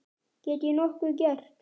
Get ég nokkuð gert?